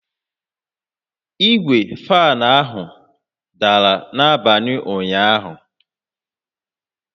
Igwe fan ahụ dara n'abalị ụnyaahụ